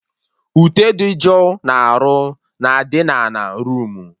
Ute dị jụụ na-arụ na adị na ana roomu